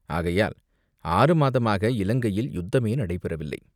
ஆகையால் ஆறு மாதமாக இலங்கையில் யுத்தமே நடைபெறவில்லை.